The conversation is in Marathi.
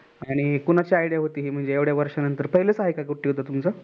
आणि कोणाची Idea होती हि म्हणजे हे येवढा वर्षा नंतर पहिलच आहे का हे get together तुमचं?